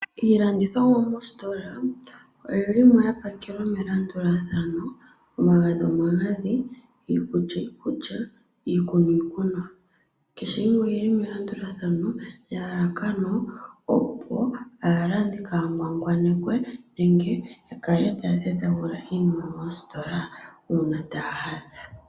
Iilandithomwa moositola oyi li mo ya pakelwa melandulathano, omagadhi omagadhi, iikulya iikulya niikunwa. Kehe yimwe oyi li melandulathano nelalakano opo aalandi kaa ya ngwangwanekwe nenge ya kale taa dhedhagula iinima mositola uuna taa landa.